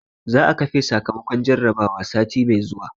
za a kafe sakamakon jarrabawa sati mai zuwa